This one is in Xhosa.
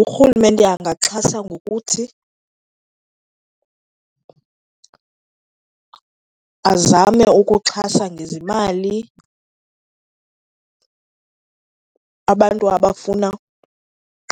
Urhulumente angaxhasa ngokuthi azame ukuxhasa ngezimali abantu abafuna